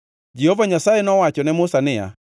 Jehova Nyasaye nowacho ne Musa niya,